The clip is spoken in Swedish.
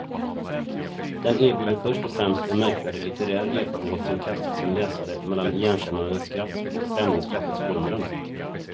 Den erbjuder först och främst en märkvärdig litterär erfarenhet som kastar sin läsare mellan igenkännandets skratt och främlingskapets förundran.